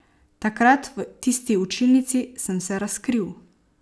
Takrat, v tisti učilnici, sem se razkril.